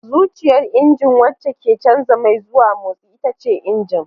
Zuciyar injina wacce ke canza mai zuwa motsi ita ce injin.